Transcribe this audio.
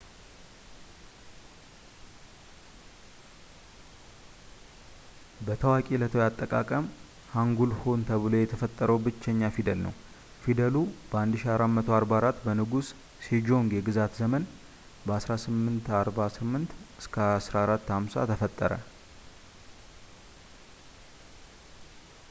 በታዋቂ ዕለታዊ አጠቃቀም ሃንጉል ሆን ተብሎ የተፈጠረ ብቸኛ ፊደል ነው። ፊደሉ በ 1444 በንጉስ ሴጆንግ የግዛት ዘመን 1418 - 1450 ተፈጠረ